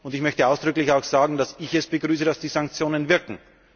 Ich möchte auch ausdrücklich sagen, dass ich es begrüße, dass die Sanktionen wirken.